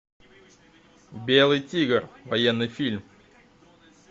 белый тигр военный фильм